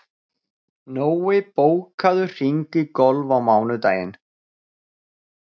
Nói, bókaðu hring í golf á mánudaginn.